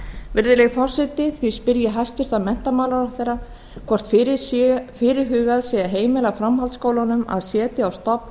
virðulegi forseti því spyr ég hæstvirtan menntamálaráðherra hvort fyrirhugað sé að heimila framhaldsskólunum að setja